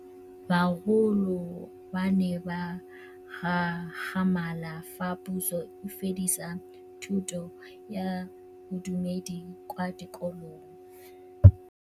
Bagolo ba ne ba gakgamala fa Pusô e fedisa thutô ya Bodumedi kwa dikolong.